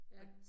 Ja